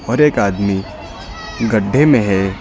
और एक आदमी गड्ढे में है।